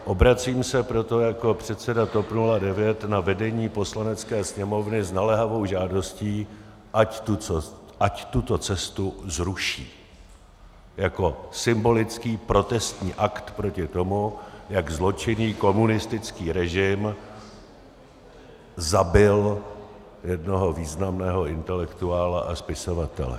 Obracím se proto jako předseda TOP 09 na vedení Poslanecké sněmovny s naléhavou žádostí, ať tuto cestu zruší jako symbolický protestní akt proti tomu, jak zločinný komunistický režim zabil jednoho významného intelektuála a spisovatele.